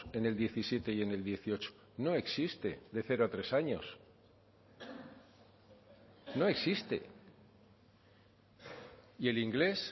en el diecisiete y en el dieciocho no existe de cero a tres años no existe y el inglés